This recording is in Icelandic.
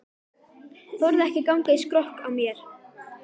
Þorði ekki að ganga í skrokk á mér.